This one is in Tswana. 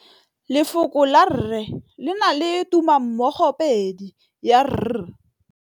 Lefoko la rre, le na le tumammogôpedi ya, r.